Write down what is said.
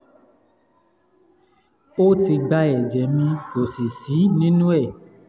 o ti gba eje mi ko si si ninu e